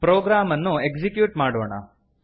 program ಅನ್ನು execute ಮಾಡೋಣ